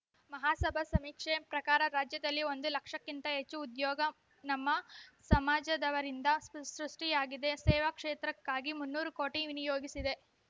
ಮಹಾಸಭಾ ಸಮೀಕ್ಷೆ ಪ್ರಕಾರ ರಾಜ್ಯದಲ್ಲಿ ಒಂದು ಲಕ್ಷಕ್ಕಿಂತ ಹೆಚ್ಚು ಉದ್ಯೋಗ ನಮ್ಮ ಸಮಾಜದವರಿಂದ ಸೃಷ್ಟಿಯಾಗಿದೆ ಸೇವಾ ಕ್ಷೇತ್ರಕ್ಕಾಗಿ ಮುನ್ನೂರು ಕೋಟಿ ವಿನಿಯೋಗಿಸಿದೆ